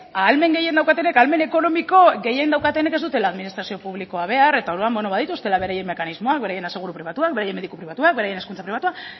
ahalmen gehien daukatenek ahalmen ekonomiko gehien daukatenek ez dutela administrazio publikoa behar eta orduan beno badituztela beren mekanismoak beraien aseguru pribatuak beraien mediku pribatuak beraien hezkuntza pribatua